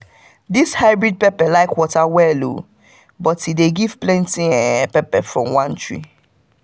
this hybrid pepper like water well but e dey give plenty um pepper from one tree